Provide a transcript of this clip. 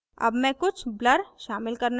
add मैं कुछ blur शामिल करना चाहती हूँ